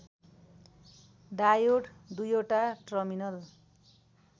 diode दुईओटा terminal